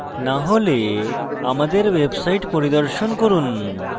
না হলে আমাদের website পরিদর্শন করুন